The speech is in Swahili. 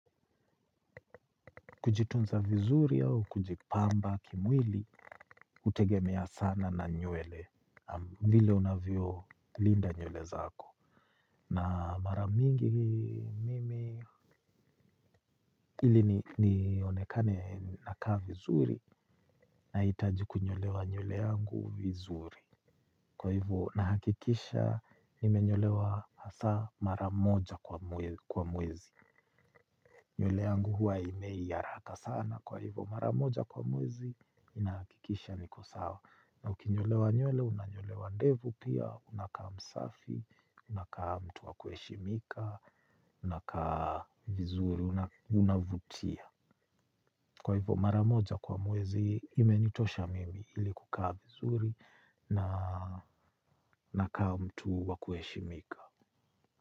Kujitunza vizuri au, kujipamba, kimwili, hutegemea sana na nywele, vile unavyo linda nywele zako. Na maramingi mimi ili nionekane nakaa vizuri, nahitaji kunyolewa nywele yangu vizuri. Kwa hivo, nahakikisha, nime nyolewa hasaa maramoja kwa mwezi. Nywele yangu huwa aimei haraka sana kwa hivo maramoja kwa mwezi ina hakikisha niko sawa. Na ukinyolewa nywele unanyolewa ndevu pia unakaa msafi. Unakaa mtu wa kueshimika unakaa vizuri unavutia. Kwa hivo maramoja kwa mwezi imenitosha mimi ili kukaa vizuri na nakaa mtu wa kueshimika.